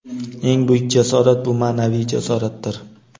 "Eng buyuk jasorat - bu ma’naviy jasoratdir".